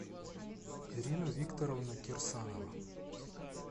ирина викторовна кирсанова